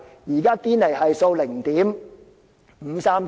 現在堅尼系數是 0.539。